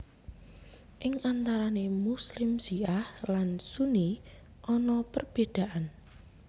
Ing antarane Muslim Syiah lan Sunni ana perbedaan